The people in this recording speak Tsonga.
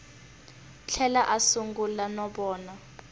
tlhela a sungula no vona